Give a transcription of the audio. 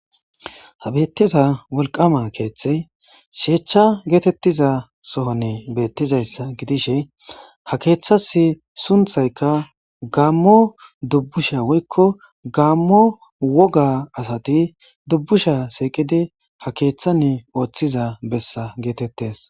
ha beettiza wolqama keeththey sheechcha geetettiza sohonne beettizayssa gidishe ha keeththas sunthaykka gaammo dubbusha woykko gaammo woga asati dubbusha siiqidi ha keeththanne ooththiza bessa geetettes